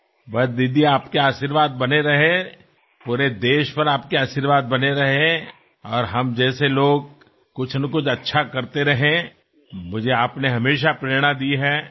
બસ દીદી આપના આશીર્વાદ રહે સમગ્ર દેશ પર આપના આશીર્વાદ રહે અને અમારા જેવા લોકો કંઈ ને કંઈ સારું કરતા રહે મને આપે હંમેશાં પ્રેરણા આપી છે